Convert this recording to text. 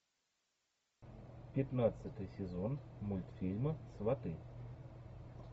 пятнадцатый сезон мультфильма сваты